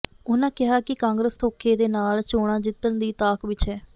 ਉਨ੍ਹਾਂ ਕਿਹਾ ਕਿ ਕਾਂਗਰਸ ਧੋਖੇ ਦੇ ਨਾਲ ਚੋਣਾਂ ਜਿੱਤਣ ਦੀ ਤਾਕ ਵਿੱਚ ਹੈ